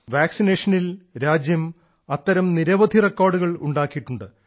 വാക്സിനേഷനിൽ രാജ്യം അത്തരം നിരവധി റെക്കോർഡുകൾ ഉണ്ടാക്കിയിട്ടുണ്ട്